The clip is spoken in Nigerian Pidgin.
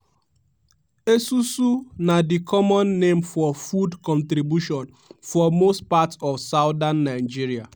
esusu' na di common name for food contribution for most parts of southern nigeria.